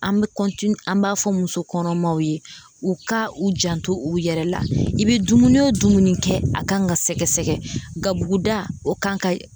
An bɛ an b'a fɔ muso kɔnɔmaw ye u ka u janto u yɛrɛ la, i bɛ dumuni o dumuni kɛ a kan ka sɛgɛsɛgɛ kabuguda o kan ka